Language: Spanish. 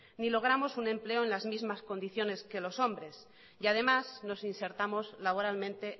ni logramos un empleo en las mismas condiciones que los hombres y además nos insertamos laboralmente